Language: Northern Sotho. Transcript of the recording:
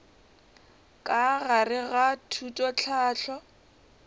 ka gare ga thuto tlhahlo